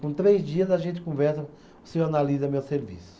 Com três dias a gente conversa, o senhor analisa meu serviço.